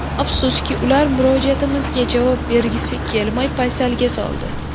Afsuski, ular murojaatimizga javob bergisi kelmay, paysalga soldi.